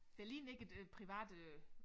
Det ligner ikke et øh privat øh